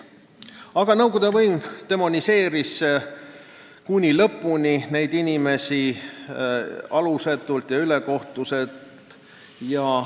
Aga nõukogude võim demoniseeris neid inimesi alusetult ja ülekohtuselt kuni lõpuni.